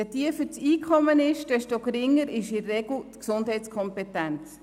Je tiefer das Einkommen, desto geringer ist in der Regel die Gesundheitskompetenz.